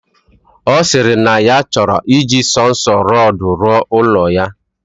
Osiri na ya choro iji sonso rodu we ruo ulo ya.